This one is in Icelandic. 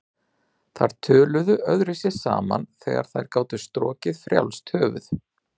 Þær töluðu öðruvísi saman þegar þær gátu strokið um frjálst höfuð.